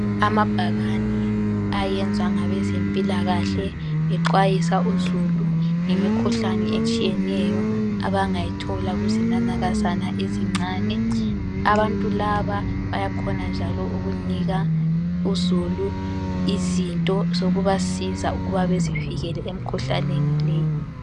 Amabhakane ayenzwa ngabezempilakahle bexwayisa uzulu ngemikhuhlane etshiyeneyo abangayithola kuzinanakazana ezincane .Abantu laba bayakhona njalo ukunika uzulu izinto zokubasiza ukuba bazivikele emikhuhlaneni le.